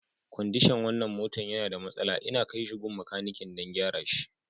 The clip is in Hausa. Kwandishan wanan motan ya na da masala, inna kai shi gun makanikin dan gyara shi.